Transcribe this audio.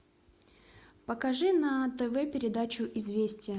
покажи на тв передачу известия